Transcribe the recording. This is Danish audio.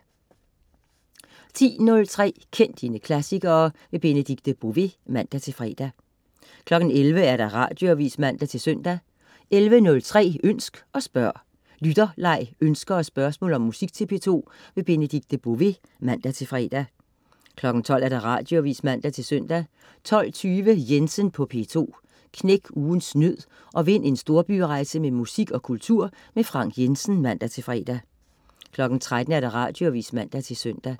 10.03 Kend dine klassikere. Benedikte Bové (man-fre) 11.00 Radioavis (man-søn) 11.03 Ønsk og spørg. Lytterleg, ønsker og spørgsmål om musik til P2. Benedikte Bové (man-fre) 12.00 Radioavis (man-søn) 12.20 Jensen på P2. Knæk ugens nød og vind en storbyrejse med musik og kultur. Frank Jensen (man-fre) 13.00 Radioavis (man-søn)